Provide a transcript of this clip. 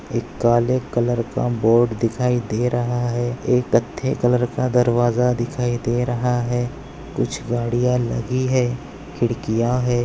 एक काले कलर का बोर्ड दिखाई दे रहा है एक कत्थे कलर का दरवाजा दिखाई दे रहा है कुछ गाड़िया लगी है खिड़किया है।